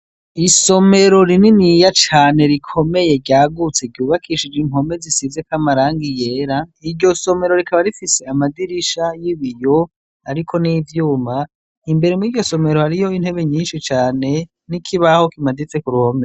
Isomero rininiya cane rikomeye ryagutse ryubakishije impome zisizeko amarangi yera, iryo somero rikaba rifise amadirisha y'ibiyo, ariko n'ivyuma, imbere mw'iryo somero hariyo intebe nyinshi cane, n'ikibaho kimaditse ku ruhome.